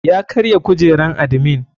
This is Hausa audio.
Ya karya kujeran admin.